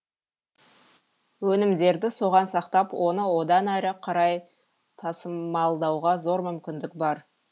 өнімдерді соған сақтап оны одан әрі қарай тасымалдауға зор мүмкіндік бар